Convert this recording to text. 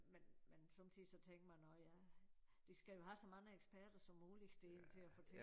Men men sommetider så tænkte man nåh ja de skal jo have så mange eksperter som muligt derind til at fortælle